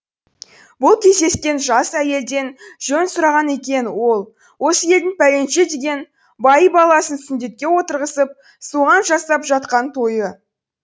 бұл кездескен жас әйелден жөн сұраған екен ол осы елдің пәленше деген байы баласын сүндетке отырғызып соған жасап жатқан тойы